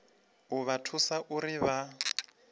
u vha thusa uri vha